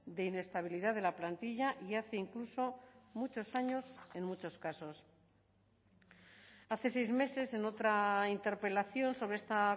de inestabilidad de la plantilla y hace incluso muchos años en muchos casos hace seis meses en otra interpelación sobre esta